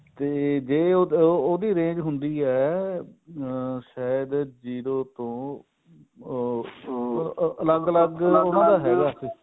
ਤੇ ਜੇ ਉਹਦੀ range ਹੁੰਦੀ ਹੈ ਅਮ ਸ਼ਾਇਦ zero ਤੋਂ ਅਮ ਅਲੱਗ ਅਲੱਗ ਉਹਨਾ ਦਾ ਹੈਗਾ ਉੱਥੇ